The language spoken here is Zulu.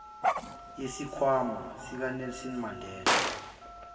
yesikhwama sikanelson mandela